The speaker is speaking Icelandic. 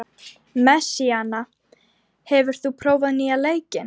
Messíana, hefur þú prófað nýja leikinn?